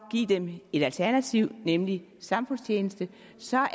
at give dem et alternativ nemlig samfundstjeneste så er